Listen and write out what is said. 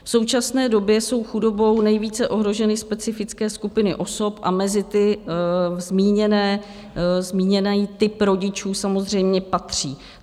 V současné době jsou chudobou nejvíce ohroženy specifické skupiny osob a mezi ty zmíněný typ rodičů samozřejmě patří.